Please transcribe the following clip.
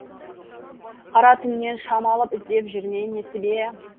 қара түннен шам алып іздеп жүр ме несібе